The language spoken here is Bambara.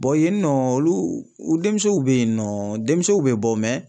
yen nɔ olu u denmusow be yen nɔ denmisɛnw bɛ bɔ